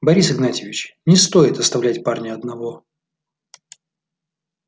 борис игнатьевич не стоит оставлять парня одного